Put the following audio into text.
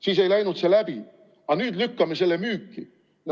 Siis ei läinud see läbi, aga nüüd lükkame selle müüki.